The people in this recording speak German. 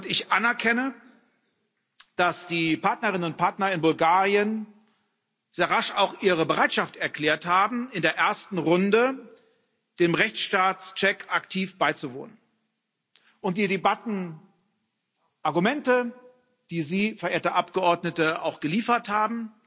Ich anerkenne, dass die Partnerinnen und Partner in Bulgarien sehr rasch auch ihre Bereitschaft erklärt haben, in der ersten Runde dem Rechtsstaatscheck aktiv beizuwohnen. Die Debatten und Argumente, die Sie, verehrte Abgeordnete, auch geliefert haben